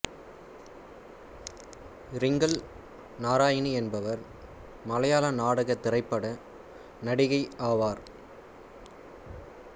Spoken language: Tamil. இரிங்கல் நாராயணி என்பவர் மலையாள நாடக திரைப்பட நடிகை ஆவார்